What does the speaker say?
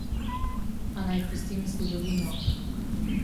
A naj pustim zgodovino.